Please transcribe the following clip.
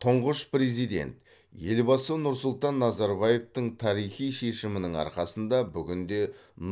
тұңғыш президент елбасы нұрсұлтан назарбаевтың тарихи шешімінің арқасында бүгінде